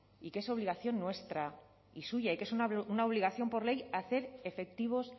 y que es obligación nuestra y suya y que es una obligación por ley a hacer efectivos